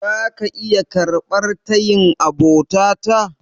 Zaka iya karɓar tayin abota ta?